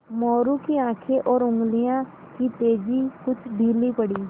मोरू की आँखें और उंगलियों की तेज़ी कुछ ढीली पड़ी